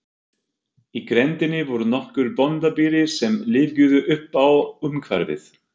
Í grenndinni voru nokkur bóndabýli sem lífguðu uppá umhverfið.